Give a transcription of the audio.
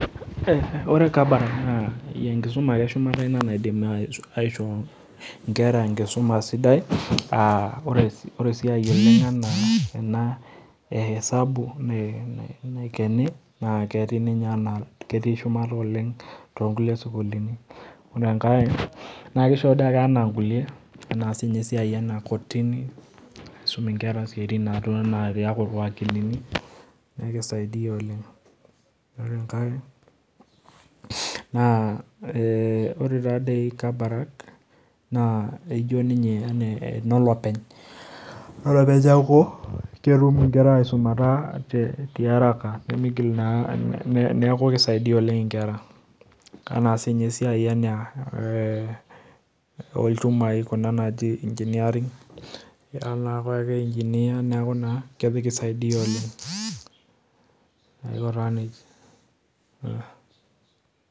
Ore kabarak naa enkisuma ake ina eshumata naaidim aishoo nkeraenkisuma sidai ,ore esiai oleng ena enaisabu naikeni naa ketii ninye shumata oleng toonkulie sukuluni, ore enkae naa kisho dei ake ana nkulie siininye ena kotini ,netum inkera siatin naa pee iyaku irwakilini neeku keisaidia oleng, ore enkae naa ore taadei kabarak enolopeny, enolopeny neeku ketrum nkera aisumata tiaraka neeku keisaidia oleng nkera. ena siininye esiai olchumai kuna naji engineering ira naa apake engineer neeku naa keisaidia oleng.